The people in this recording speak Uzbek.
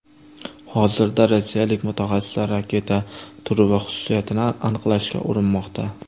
Hozirda rossiyalik mutaxassislar raketa turi va xususiyatini aniqlashga urinmoqda.